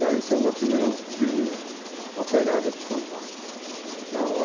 Daí isso é uma das primeiras vilas operárias de São Paulo. Uhum.